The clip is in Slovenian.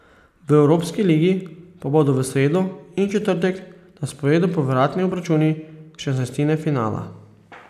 V evropski ligi pa bodo v sredo in četrtek na sporedu povratni obračuni šestnajstine finala.